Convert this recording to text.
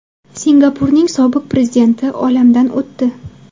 Singapurning sobiq prezidenti olamdan o‘tdi.